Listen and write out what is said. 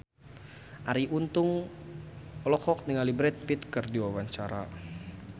Arie Untung olohok ningali Brad Pitt keur diwawancara